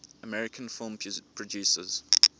american film producers